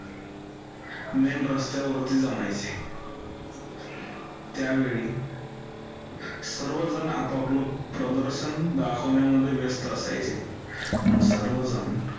main रस्त्यावरती जमायचे, त्यावेळी सर्वजण आप आपलं प्रदर्शन दाखवण्यामध्ये व्यस्त असायचे. आणि सर्वजण